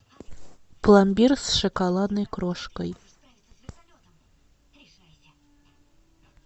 пломбир с шоколадной крошкой